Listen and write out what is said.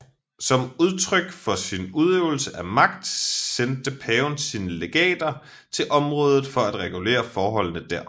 Som udtryk for sin udøvelse af magt sendte paven sine legater til området for at regulere forholdene der